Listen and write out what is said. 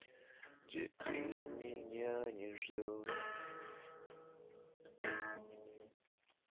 где ты меня не ждёшь